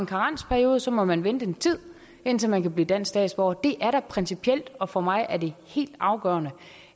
karensperiode og så må man vente en tid indtil man kan blive dansk statsborger det er da principielt og for mig er det helt afgørende